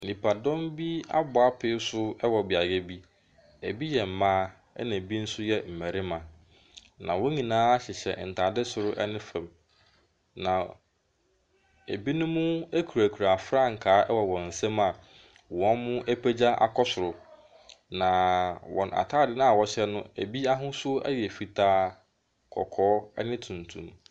Nipadɔm bi abɔ apee so wɔ beaeɛ bi. Na ɛbi yɛ mmaa, ɛna ɛbi nso yɛ mmarima. Na wɔn nyinaa hyehyɛ ntaadeɛ soro ne fam. Na ɛbinom kurakura frankaa wɔ wɔn nsam a wɔapagya akɔ soro. Na wɔn atadeɛ no a wɔhyɛ no, ɛbi ahosuo yɛ fitaa, kɔkɔɔ ne tuntum.